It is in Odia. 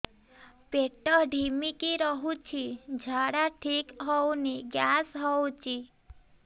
ପେଟ ଢିମିକି ରହୁଛି ଝାଡା ଠିକ୍ ହଉନି ଗ୍ୟାସ ହଉଚି